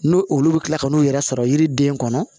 N'o olu bɛ kila ka n'u yɛrɛ sɔrɔ yiriden kɔnɔ